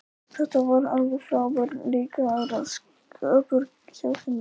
Þetta var alveg frábær leikaraskapur hjá henni.